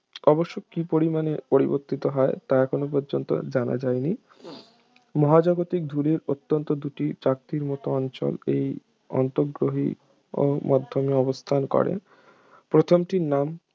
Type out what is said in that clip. অবশ্য কি পরিমাণে পরিবর্তিত হয় তা এখন পর্যন্ত জানা যায়নি মহাজাগতিক ধূলির অন্তত দুটি চাকতির মত অঞ্চল এই আন্তঃগ্রহীয় মাধ্যমে অবস্থান করে প্রথমটির নাম